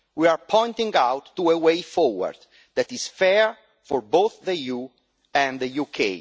We are pointing out a way forward that is fair for both the EU and the UK.